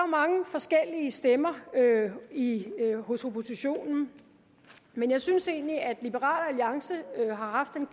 mange forskellige stemmer hos oppositionen men jeg synes egentlig at liberal alliance har haft den